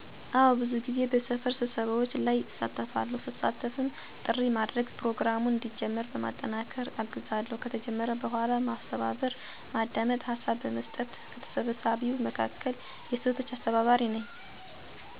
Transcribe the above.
አወ ብዙ ጊዜ በሰፈር ስብሰባዎች ላይ እሳተፋለሁ, ስሳተፍም ጥሪ ማድረግ፣ ፕሮግራሙን እንዲጀመር በማጠናከር አግዛለሁ፣ ከተጀመረ በኋላ ማስተባበር፣ በማዳመጥ ሀሳብ በመስጠት፣ ከተሰብሳቢዉም መካከል የሴቶች አስተባባሪ ነኝ; ስብሰባዉ ተጀምሮ እስኪያልቅ እሳተፋለሁ በራሴ እንድተማመን አድርጎኛል።